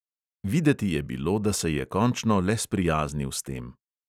Videti je bilo, da se je končno le sprijaznil s tem.